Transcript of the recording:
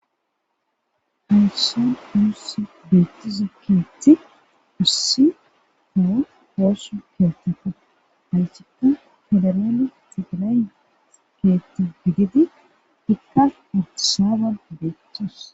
Haysan nuussi beettiza keetti ussi taha poossu keettafa hayssikka fedarale xigilan keetta gigidi ikka artisaban beettos.